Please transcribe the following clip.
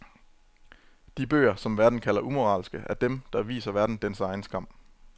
De bøger, som verden kalder umoralske, er dem, der viser verden dens egen skam.